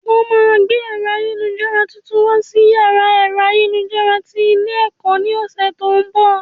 Wọ́n máa gbé ẹ̀rọ ayélujára tuntun wá sí yàrá ẹ̀rọ ayélujára tí ilé ẹ̀kọ́ ní ọ̀sẹ̀ tó ń bọ̀